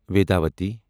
ویداؤتی